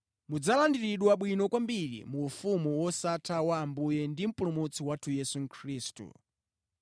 Mudzalandiridwa bwino kwambiri mu ufumu wosatha wa Ambuye ndi Mpulumutsi wathu Yesu Khristu.